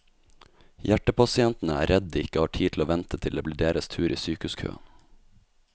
Hjertepasientene er redd de ikke har tid til å vente til det blir deres tur i sykehuskøen.